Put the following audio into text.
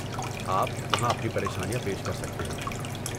آپ وہاں اپنی پریشانیاں پیش کر سکتے ہیں۔